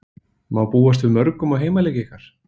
Má búast við mörgum á heimaleiki ykkar?